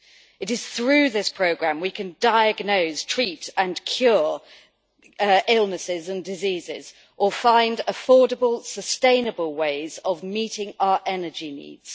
It is through this programme we can diagnose, treat and cure illnesses and diseases or find affordable, sustainable ways of meeting our energy needs.